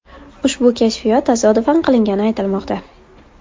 Ushbu kashfiyot tasodifan qilingani aytilmoqda.